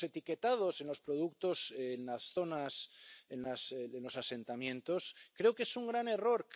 Lo de los etiquetados en los productos de las zonas de los asentamientos creo que es un gran error.